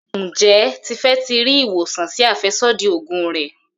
Njé Tife tí rí ìwòsàn sí afẹsodi oògùn rẹ.